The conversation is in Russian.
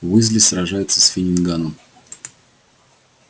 уизли сражается с финниганом